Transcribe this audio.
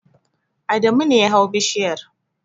Adamu ne ya hau bishiyar.